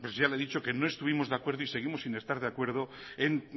ya le he dicho que no estuvimos de acuerdo y seguimos sin estar de acuerdo en